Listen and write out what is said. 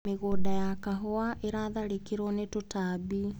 Mĩgũnda ya kahũa ĩratharĩkĩrwo nĩ tũtambi.